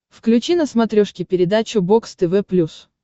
включи на смотрешке передачу бокс тв плюс